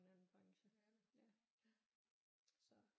En anden branche så